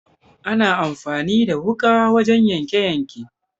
Ana amfani da wuƙa wurin yanke yanke